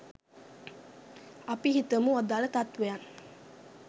අපි හිතමු අදාල තත්වයන්